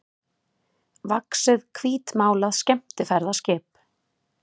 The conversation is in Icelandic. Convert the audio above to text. vaxið hvítmálað skemmtiferðaskip.